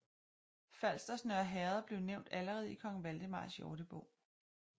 Falsters Nørre Herred blev nævnt allerede i Kong Valdemars Jordebog